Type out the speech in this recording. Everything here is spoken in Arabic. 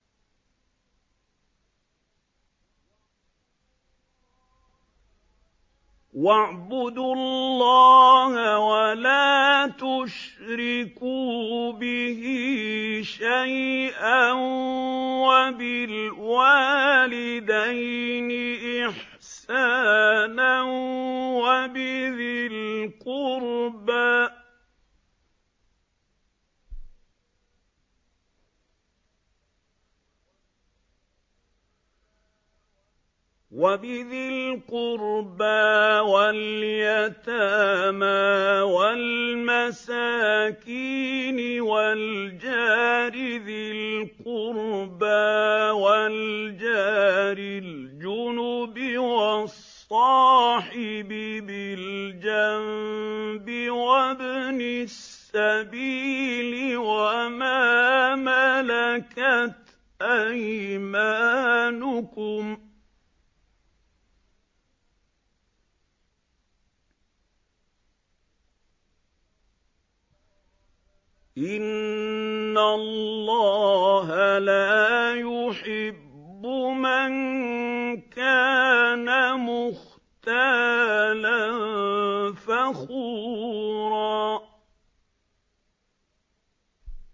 ۞ وَاعْبُدُوا اللَّهَ وَلَا تُشْرِكُوا بِهِ شَيْئًا ۖ وَبِالْوَالِدَيْنِ إِحْسَانًا وَبِذِي الْقُرْبَىٰ وَالْيَتَامَىٰ وَالْمَسَاكِينِ وَالْجَارِ ذِي الْقُرْبَىٰ وَالْجَارِ الْجُنُبِ وَالصَّاحِبِ بِالْجَنبِ وَابْنِ السَّبِيلِ وَمَا مَلَكَتْ أَيْمَانُكُمْ ۗ إِنَّ اللَّهَ لَا يُحِبُّ مَن كَانَ مُخْتَالًا فَخُورًا